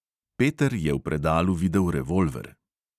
Peter je v predalu videl revolver.